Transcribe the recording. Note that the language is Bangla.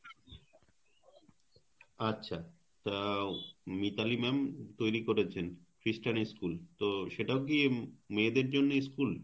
আচ্ছা তা উনি তাহলি ma'am তৈরি করেছেন খ্রিস্টান school তো সেটাও কি উম মেয়েদের জন্য school.